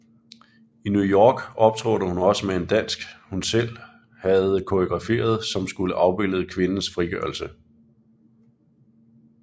I New York optrådte hun også med en dansk hun selv havde koreograferet som skulle afbillede kvindes frigørelse